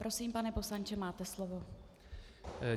Prosím, pane poslanče, máte slovo.